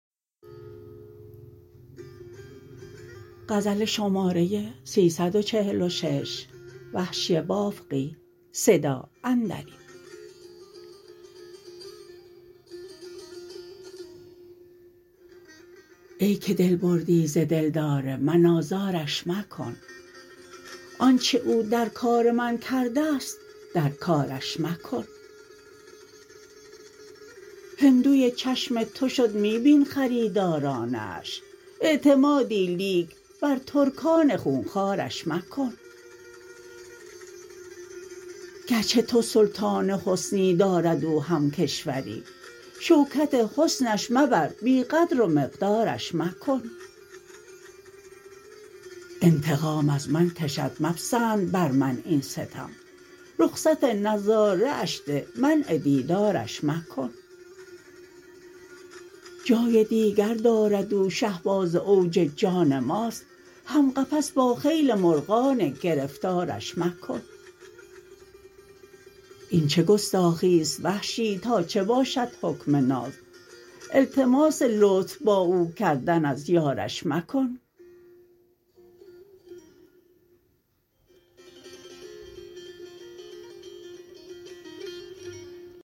ای که دل بردی ز دلدار من آزارش مکن آنچه او در کار من کردست در کارش مکن هندوی چشم تو شد می بین خریدارانه اش اعتمادی لیک بر ترکان خونخوارش مکن گرچه تو سلطان حسنی دارد او هم کشوری شوکت حسنش مبر بی قدر و مقدارش مکن انتقام از من کشد مپسند بر من این ستم رخصت نظاره اش ده منع دیدارش مکن جای دیگر دارد او شهباز اوج جان ماست هم قفس با خیل مرغان گرفتارش مکن این چه گستاخی ست وحشی تا چه باشد حکم ناز التماس لطف با او کردن از یارش مکن